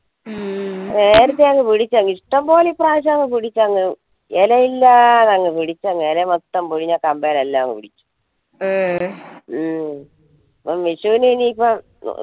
നേരത്തെ അങ്ങ് ഇഷ്ടം പോലെ ഇപ്രാവശ്യം പിടിച്ചങ്ങു ഇലയില്ലാതെ പിടിച്ചങ്ങു ഇല മൊത്തം പോയി കമ്പല്ലാം ഒടിഞ്ഞു വിഷുന് ഇനി ഇപ്പം